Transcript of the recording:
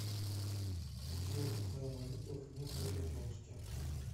джой какая валюта в днепропетровске